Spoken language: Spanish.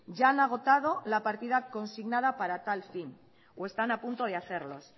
ya han agotado la partida consignada para tal fin o están a punto de hacerlo